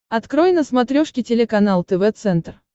открой на смотрешке телеканал тв центр